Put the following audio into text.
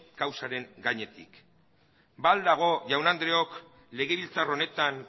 kausaren gainetik ba al dago jaun andreok legebiltzar honetan